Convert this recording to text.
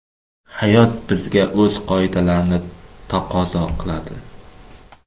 Hayot bizga o‘z qoidalarini taqozo qiladi.